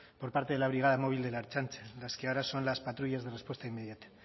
por parte de la brigada móvil de la ertzaintza las que ahora son las patrullas de respuesta inmediata